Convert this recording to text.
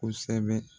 Kosɛbɛ